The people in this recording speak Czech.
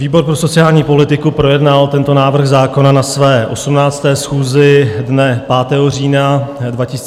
Výbor pro sociální politiku projednal tento návrh zákona na své 18. schůzi dne 5. října 2022 a přijal toto usnesení.